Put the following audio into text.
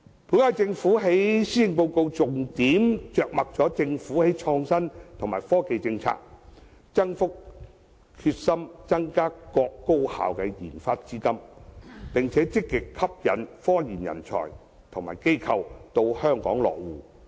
本屆政府在施政報告中重點着墨其創新及科技政策，決心增加各高校的研發資金，並積極吸引科研人才及機構到香港落戶。